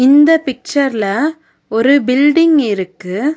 இந்த பிக்சர்ல ஒரு பில்டிங் இருக்கு.